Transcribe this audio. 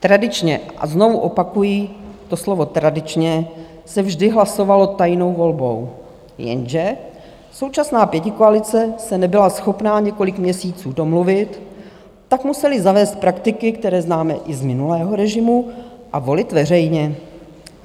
Tradičně, a znovu opakuji to slovo tradičně, se vždy hlasovalo tajnou volbou, jenže současná pětikoalice se nebyla schopna několik měsíců domluvit, tak museli zavést praktiky, které známe i z minulého režimu, a volit veřejně.